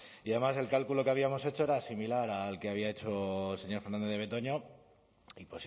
y además el cálculo que habíamos hecho era similar al que había hecho el señor fernández de betoño y